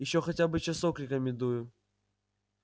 ещё хотя бы часок рекомендую